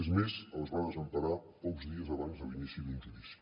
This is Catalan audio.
és més els va desemparar pocs dies abans de l’inici d’un judici